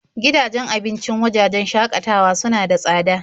Gidajen abincin wajajen shakatawa suna da tsada.